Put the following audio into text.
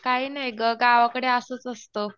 काही नाही गं. गावाकडे असंच असतं.